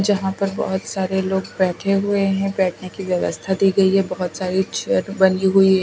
जहां पर बहोत सारे लोग बैठे हुए हैं बैठने की व्यवस्था दी गई है बहोत सारी चेयर बनी हुई है।